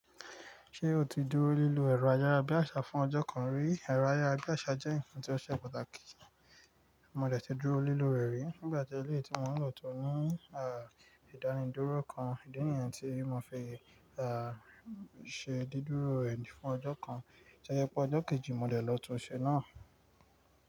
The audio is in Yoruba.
Ṣé o ti dúró lílò ẹ̀rọ ayára bí àṣá fún ọjọ́ kan rí? Ẹ̀rọ ayára bí àṣá jẹ́ ǹkan tí ó ṣe pàtàkì. Mo dẹ̀ tí dúró lílò rẹ̀ rí nígbà tí éléyì tí mo ń lọ tó ní ìdánidúró kan. Ìdí nìyẹn tí mo fi ṣe dídúró rẹ̀ fún ọjọ́ kan. Tó yẹ pé ọjọ́ kejì mo dẹ̀ lọ tún un ṣe náà?